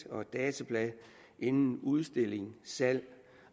og et datablad inden udstilling salg